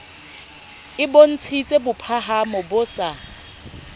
e bontshitse bophahamo bo sa